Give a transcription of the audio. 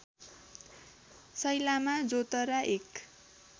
सैलामा जोतरा एक